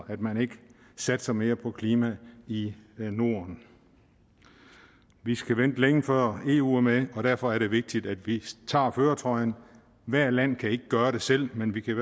at man ikke satser mere på klima i norden vi skal vente længe før eu er med og derfor er det vigtigt at vi tager førertrøjen hvert land kan ikke gøre det selv men vi kan